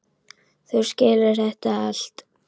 Þú skilur þetta allt.